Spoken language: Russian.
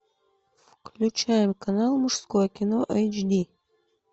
включаем канал мужское кино эйч ди